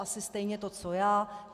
Asi stejně to co já.